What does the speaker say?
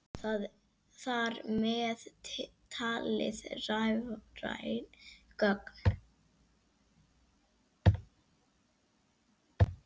Þar með talið rafræn gögn.